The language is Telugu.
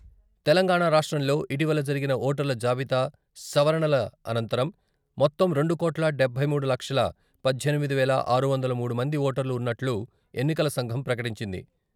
తెలంగాణా రాష్ట్రంలో ఇటీవల జరిగిన ఓటర్ల జాబితా సవరణల అనంతరం మొత్తం రెండు కోట్ల డబ్బై మూడు లక్షల పద్దెనిమిది వేల ఆరు వందల మూడు మంది ఓటర్లు ఉన్నట్లు ఎన్నికల సంఘం ప్రకటించింది.